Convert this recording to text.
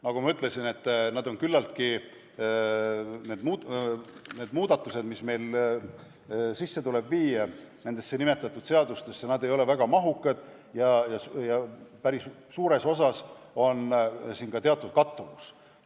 Nagu ma ütlesin, ei ole need muudatused, mis meil nimetatud seadustesse sisse tuleb viia, väga mahukad ja päris suures osas esineb siin ka teatud kattuvust.